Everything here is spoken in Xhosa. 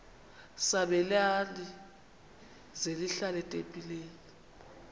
sabelani zenihlal etempileni